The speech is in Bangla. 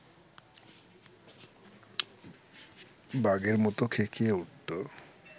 বাঘের মত খেঁকিয়ে উঠত